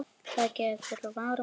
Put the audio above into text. Það verði gert um áramót.